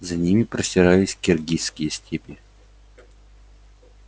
за ними простирались киргизские степи